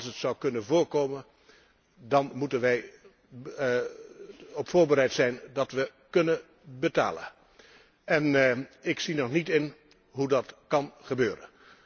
Als het zou kunnen voorkomen, dan moeten wij er op voorbereid zijn dat we kunnen betalen. En ik zie nog niet in hoe dat kan gebeuren.